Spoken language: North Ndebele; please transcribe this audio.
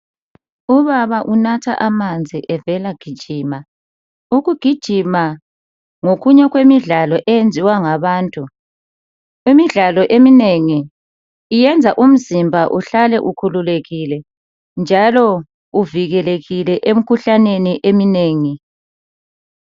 Ubaba unatha amanzi evela gijima. Ukugijima ngokunye okwenziwa ngabantu. Imidlalo eminengi njalo ukhukulekile njalo uvikelekile emikhuhlaneni eminengi.